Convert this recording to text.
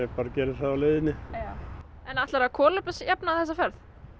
bara geri það á leiðinni ætlaru að kolefnisjafna þessa ferð